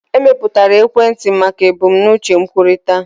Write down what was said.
Emepụtara ekwentị maka ebumnuche nkwukọrịta.